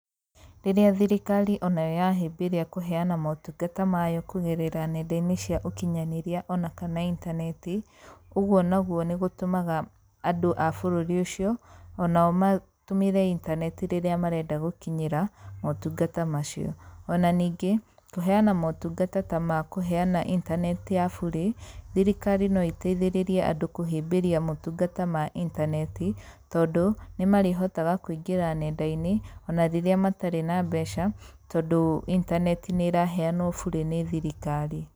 Rĩrĩa thirikari onayo yahĩmbĩria kũheana motungata mayo kũgerera nenda-inĩ cia ũkinyanĩria ona kana intaneti, ũguo naguo nĩ gũtũmaga andũ a bũrũri ũcio onao matũmĩre inteneti rĩrĩa marenda gũkinyĩra motungata macio. Ona ningĩ, kũheana motungata ta ma kũheana intaneti ya bure, thirikari no ĩteithĩrĩrie andũ kũhĩmbĩria motungata ma intaneti tondũ, nĩ marĩhotaga kũingĩra nenda-inĩ ona rĩrĩa matarĩ na mbeca tondũ intaneti nĩ ĩraheanwo bure nĩ thirikari.